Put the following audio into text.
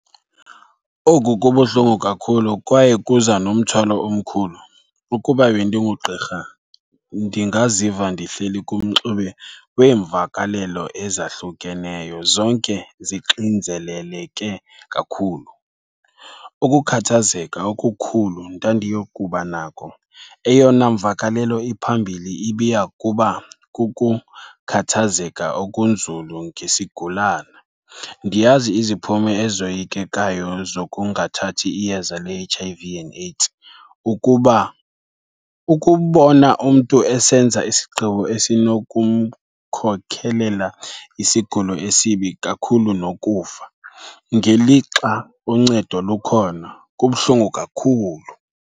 Oku kubuhlungu kakhulu kwaye kuza nomthwalo omkhulu. Ukuba bendingugqirha ndingaziva ndihleli kumxube weemvakalelo ezahlukeneyo, zonke zixinzeleleke kakhulu. Ukukhathazeka okukhulu ndandiyokuba nako, eyona mvakalelo iphambili ibiya kuba kukukhathazeka okunzulu ngesigulana. Ndiyazi iziphumo ezoyikekayo zokungathathi iyeza le-H_I_V and AIDS. Ukuba, ukubona umntu esenza isigqibo esinokumkhokelela isigulo esibi kakhulu nokufa, ngelixa uncedo lukhona, kubuhlungu kakhulu.